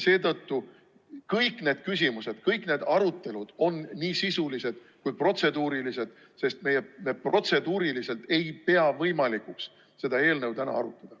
Seetõttu on kõik need küsimused, kõik need arutelud nii sisulised kui ka protseduurilised, sest meie protseduuriliselt ei pea võimalikuks seda eelnõu täna arutada.